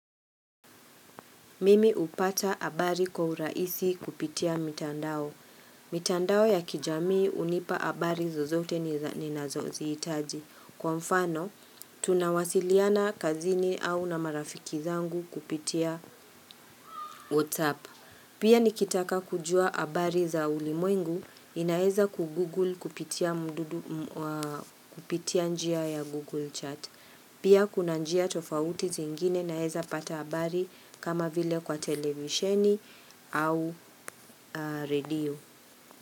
Mimi hupata habari kwa urahisi kupitia mitandao. Mitandao ya kijamii hunipa habari zozote ni nazozihitaji. Kwa mfano, tunawasiliana kazini au na marafiki zangu kupitia WhatsApp. Pia nikitaka kujua habari za ulimwengu, ninaweza kugoogle kupitia njia ya Google Chat. Pia kuna njia tofauti zingine naweza pata habari kama vile kwa televisheni au radio.